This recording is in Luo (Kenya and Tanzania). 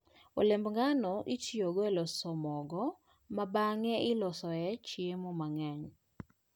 Olemb ngano itiyogo e loso mogo, ma bang'e iloso e chiemo mang'eny.